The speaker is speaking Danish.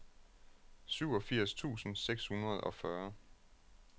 syvogfirs tusind seks hundrede og fyrre